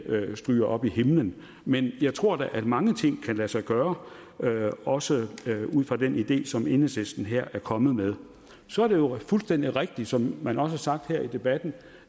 stryger op i himlen men jeg tror da at mange ting kan lade sig gøre også ud fra den idé som enhedslisten her er kommet med så er det jo fuldstændig rigtigt som man også har sagt her i debatten